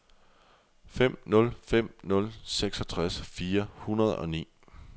fem nul fem nul seksogtres fire hundrede og ni